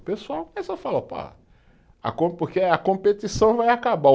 O pessoal começou a falar, opa, porque a competição vai acabar.